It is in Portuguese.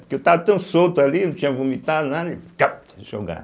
Porque eu estava tão solto ali, não tinha vomitado nada, e capti, jogaram.